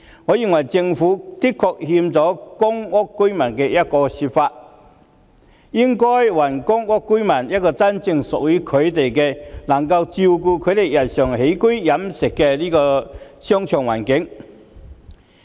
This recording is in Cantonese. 我認為政府的確虧欠了公屋居民，應該還公屋居民一個真正屬於他們、能夠照顧他們日常起居飲食的商場環境。